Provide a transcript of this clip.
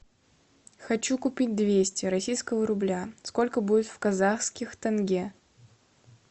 хочу купить двести российского рубля сколько будет в казахских тенге